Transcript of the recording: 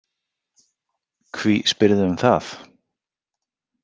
Hví spyrðu um það?